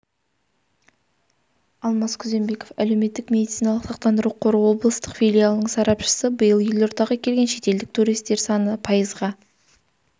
алмас күзембеков әлеуметтік медициналық сақтандыру қоры облыстық филиалының сарапшысы биыл елордаға келген шетелдік туристер саны пайызға